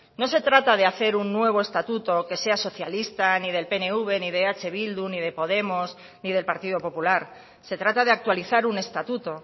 no se trata de hacer un nuevo estatuto que sea socialista ni del pnv ni de eh bildu ni de podemos ni del partido popular se trata de actualizar un estatuto